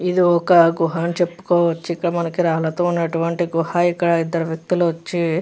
ఇది ఒక గుహ అని చెప్పుకోవచ్చు ఇక్కడ మనకి రాళ్లతో ఉన్నటువంటి గుహ ఇక్కడ ఇద్దరు వ్యక్తులు వచ్చి --